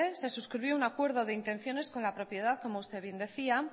se suscribió un acuerdo de intenciones con la propiedad como usted bien decía